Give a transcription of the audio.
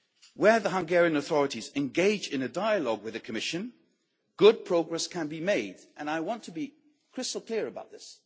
Where the Hungarian authorities engage in a dialogue with the Commission, good progress can be made, and I want to be crystal clear about this.